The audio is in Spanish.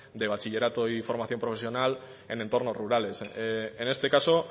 de bachillerato y formación profesional en entornos rurales en este caso